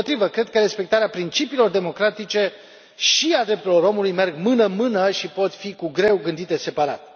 Dimpotrivă, cred că respectarea principiilor democratice și a drepturilor omului merg mână în mână și pot fi cu greu gândite separat.